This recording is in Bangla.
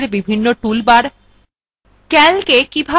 libreoffice calcএর বিভিন্ন toolbars